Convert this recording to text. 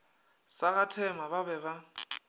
sa gathema ba be ba